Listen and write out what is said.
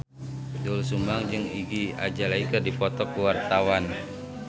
Doel Sumbang jeung Iggy Azalea keur dipoto ku wartawan